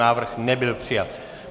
Návrh nebyl přijat.